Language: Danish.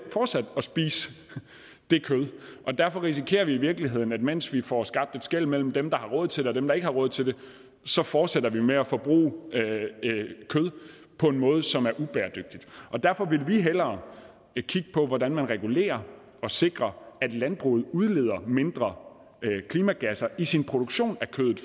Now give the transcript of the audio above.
at spise det kød derfor risikerer vi i virkeligheden at mens vi får skabt et skel mellem dem der har råd til det og dem der ikke har råd til det så fortsætter vi med at forbruge kød på en måde som er ubæredygtig og derfor ville vi hellere kigge på hvordan vi regulerer og sikrer at landbruget udleder mindre klimagas i sin produktion af kødet